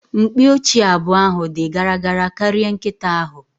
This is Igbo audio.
Mkpi ochie abụọ ahụ di gara gara karịa nkịta ahụ